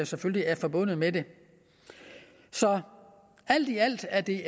selvfølgelig er forbundet med det så alt i alt er det